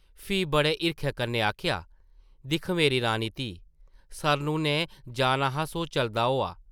फ्ही बड़े हिरखै कन्नै आखेआ, दिक्ख मेरी रानी धी... सरनु नै जाना हा सो चलदा होआ ।